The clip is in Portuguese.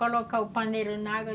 Colocar o paneiro na água.